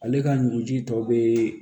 Ale ka ɲuguji tɔ be